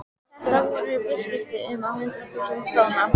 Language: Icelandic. Þetta voru viðskipti upp á hundruð þúsunda króna.